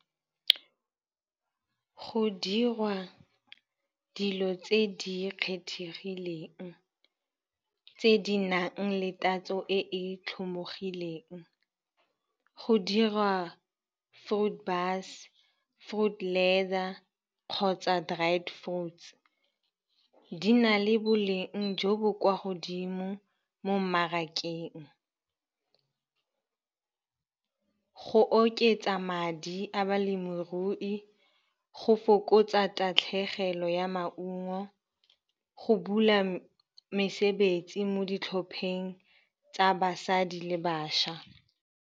Go dirwa dilo tse di kgethegileng tse di nang le tatso e e tlhomogileng, go diriwa fruit , fruit ladder kgotsa dried fruits. Di na le boleng jo bo kwa godimo mo mmarakeng go oketsa madi a balemirui, go fokotsa tatlhegelo ya maungo, go bula mesebetsi mo ditlhopheng tsa basadi le bašwa.